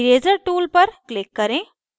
eraser tool पर click करें